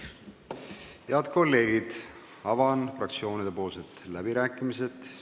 Head kolleegid, avan fraktsioonide läbirääkimised.